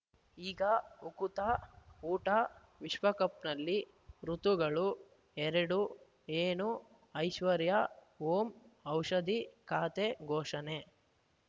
ಈಗ ಉಕುತ ಊಟ ವಿಶ್ವಕಪ್‌ನಲ್ಲಿ ಋತುಗಳು ಎರಡು ಏನು ಐಶ್ವರ್ಯಾ ಓಂ ಔಷಧಿ ಖಾತೆ ಘೋಷಣೆ